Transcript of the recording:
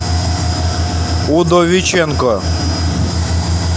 удовиченко